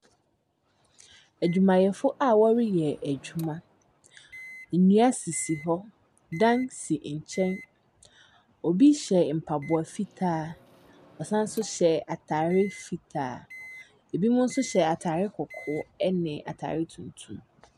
Adwumayɛfo a wɔreyɛ adwuma, nnua sisi hɔ, dan si nkyɛn, obi hyɛ mpaboa fitaa, ɔsan nso hyɛ ataare fitaa. Binom nso hyɛ ataare kɔkɔɔ ne ataare tuntum.